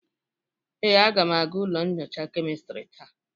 Ee, aga m aga ụlọ nyocha kemistri taa.